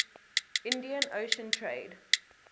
indian ocean trade